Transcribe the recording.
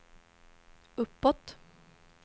uppåt